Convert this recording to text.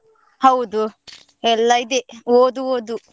ಹೌದು, ಎಲ್ಲ ಇದೆ, ಓದು ಓದು.